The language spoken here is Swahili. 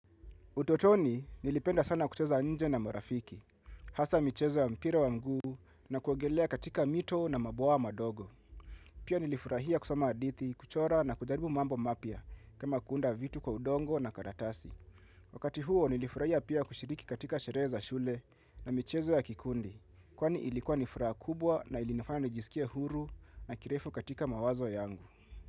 Utotoni nilipenda sana kucheza nje na marafiki, hasa michezo ya mpira wa mguu na kuogelea katika mito na maboa madogo. Pia nilifurahia kusoma hadithi, kuchora na kujaribu mambo mapya kama kuunda vitu kwa udongo na karatasi. Wakati huo nilifurahia pia kushiriki katika sherehe za shule na michezo ya kikundi, kwani ilikuwa ni furaha kubwa na ilinifanya nijisikie huru na kirefu katika mawazo yangu.